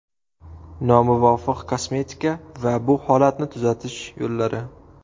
Nomuvofiq kosmetika va bu holatni tuzatish yo‘llari.